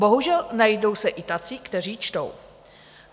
Bohužel, najdou se i tací, kteří čtou.